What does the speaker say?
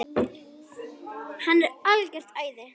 Hann er algert æði!